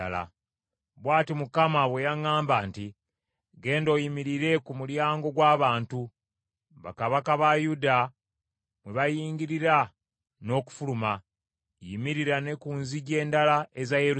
Bw’ati Mukama bwe yaŋŋamba nti, “Genda oyimirire ku mulyango gw’abantu, bakabaka ba Yuda mwe bayingirira n’okufuluma; yimirira ne ku nzigi endala eza Yerusaalemi.